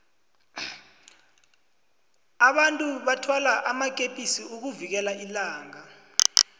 abantu bathwala amakepisi ukuvikela ilanga